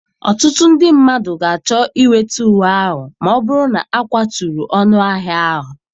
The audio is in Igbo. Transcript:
Ọtụtụ ndị mmadụ ga-achọ inweta uwe ahụ ma ọ bụrụ na akwaturu ọnụahịa ahụ.